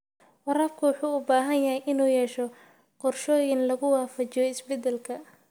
Waraabka wuxuu u baahan yahay inuu yeesho qorshooyin lagu waafajiyo isbeddelka.